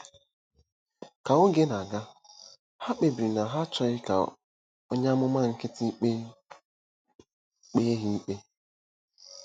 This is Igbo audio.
Ka oge na-aga, ha kpebiri na ha achọghị ka onye amụma nkịtị kpee kpee ha ikpe.